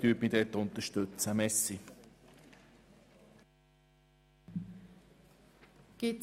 Ich hoffe, Sie unterstützen mich hier.